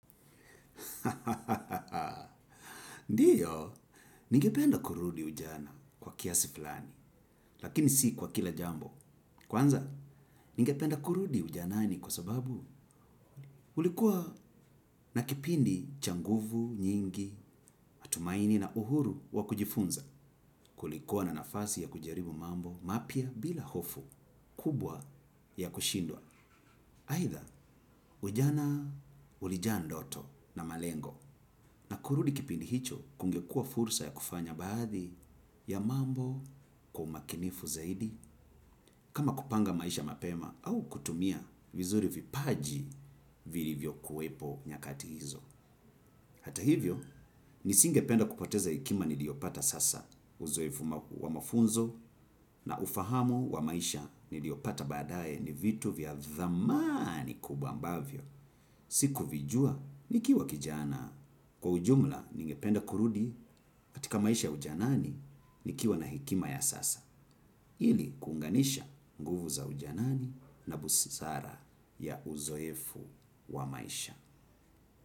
Ndiyo, ningependa kurudi ujana kwa kiasi fulani, lakini si kwa kila jambo. Kwanza, ningependa kurudi ujanani kwa sababu ulikuwa na kipindi cha nguvu, nyingi, matumaini na uhuru wa kujifunza, kulikuwa na nafasi ya kujaribu mambo mapya bila hofu, kubwa ya kushindwa. Aidha ujana ulijaa ndoto na malengo na kurudi kipindi hicho kungekuwa fursa ya kufanya baadhi ya mambo kwa umakinifu zaidi kama kupanga maisha mapema au kutumia vizuri vipaji vilivyo kuwepo nyakati hizo. Hata hivyo, nisingependa kupoteza hekima niliyopata sasa uzoefu wa mafunzo na ufahamu wa maisha niliyopata badaye ni vitu vya thamani kubwa ambavyo. Siku vijua, nikiwa kijana. Kwa ujumla, ningependa kurudi katika maisha ujanani nikiwa na hekima ya sasa. Ili, kuunganisha nguvu za ujanani na busara ya uzoefu wa maisha.